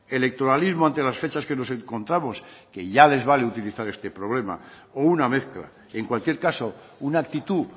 electoralismo ante las fechas que nos encontramos que ya les vale utilizar este problema o una mezcla en cualquier caso una actitud